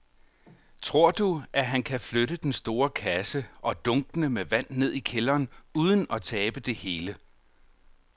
Tror du, at han kan flytte den store kasse og dunkene med vand ned i kælderen uden at tabe det hele?